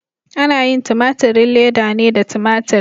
Ana yin tumaturin leda ne da tumatur.